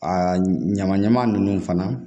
Aa ɲaman ɲaman nunnu fana